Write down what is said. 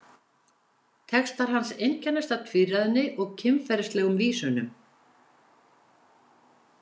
Textar hans einkennast af tvíræðni og kynferðislegum vísunum.